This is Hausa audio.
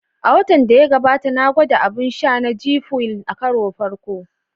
A watan da ya gabata, na gwada abun sha na "G Fuel" a karon farko